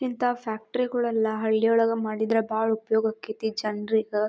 ಇಂತಹ ಫ್ಯಾಕ್ಟರಿಗಲ್ಲನ್ನ ಹಳ್ಳಿ ಒಳಗೆ ಮಾಡಿದರೆ ಬಾಲ ಉಪಯೋಗ ಆಕ್ತಿತಿ ಜನರಿಗೆ.